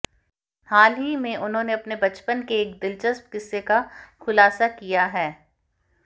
हाल ही में उन्होंने अपने बचपन के एक दिलचस्प किस्से का खुलासा किया है